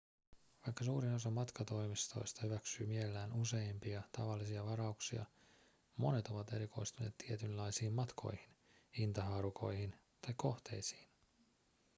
vaikka suurin osa matkatoimistoista hyväksyy mielellään useimpia tavallisia varauksia monet ovat erikoistuneet tietynlaisiin matkoihin hintahaarukoihin tai kohteisiin